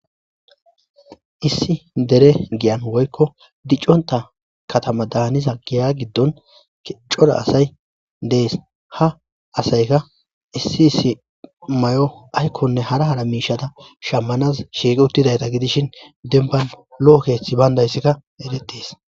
issi dere giyan woykko dicconta katama daaniza giya giddon cora asay dees ha asayka issi issi may7o aykkonne hara hara miishada shammanaz shiiqi uttidayta gidishin demban lo7o keeththi bayndayssikka eretees